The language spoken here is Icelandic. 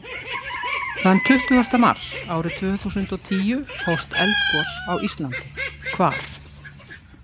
Þann tuttugasta mars árið tvö þúsund og tíu hófst eldgos á Íslandi. Hvar?